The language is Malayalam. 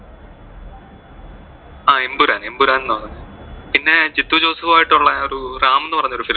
ആ എംപുരാൻ, എംപുരാൻ എന്ന് ആണ്, പിന്നെ ജിത്തു ജോസഫും ആയിട്ട് ഉള്ള ഒരു റാം എന്ന് പറഞ്ഞ ഒരു film